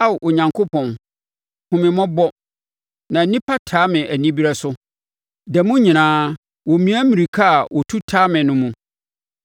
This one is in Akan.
Ao Onyankopɔn, hunu me mmɔbɔ na nnipa taa me anibereɛ so; da mu nyinaa, wɔmia mmirika a wɔtu wɔtaa me no mu.